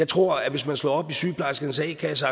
tror at hvis man slår op i sygeplejerskernes a kasse